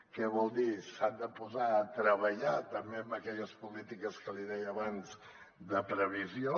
què vol dir s’han de posar a treballar també en aquelles polítiques que li deia abans de previsió